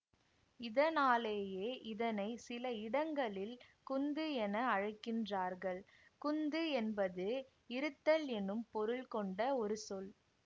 இதனாலேயே இதனை சில இடங்களில் குந்து என அழைக்கின்றார்கள் குந்து என்பது இருத்தல் என்னும் பொருள் கொண்ட ஒரு சொல்